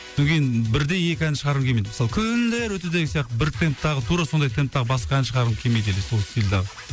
содан кейін бірдей екі ән шығарғым келмейді мысалы күндер өтті деген сияқты бір темптағы тура сондай темптағы басқа ән шығарғым келмейді или сол